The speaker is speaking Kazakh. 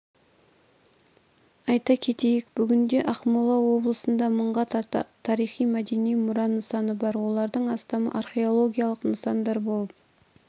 айта кетейік бүгінде ақмола облысында мыңға тарта тарихи-мәдени мұра нысаны бар олардың астамы археологиялық нысандар болып